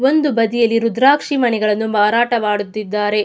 ಒಂದು ಬದಿಯಲ್ಲಿ ರುದ್ರಾಕ್ಷಿ ಮಣಿಗಳನ್ನು ಮಾರಾಟ ಮಾಡುತ್ತಿದ್ದಾರೆ.